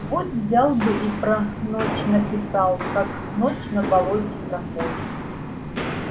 вот взял бы и про ночь написал как ночь на болоте проходит